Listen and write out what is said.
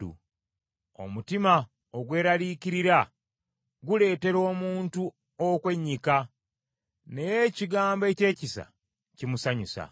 Omutima ogweraliikirira guleetera omuntu okwennyika, naye ekigambo eky’ekisa kimusanyusa.